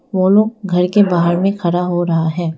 वो लोग घर के बाहर में खड़ा हो रहा है।